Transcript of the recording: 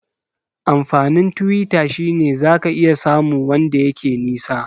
Amfanin Twitter shine zaka iya samu wanda yake nisa